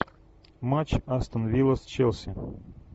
матч астон вилла с челси